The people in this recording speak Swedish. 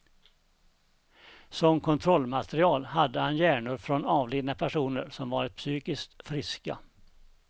Som kontrollmaterial hade han hjärnor från avlidna personer som varit psykiskt friska.